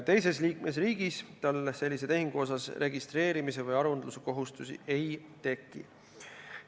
Teises liikmesriigis tal sellise tehingu registreerimise või aruandluse kohustust ei teki.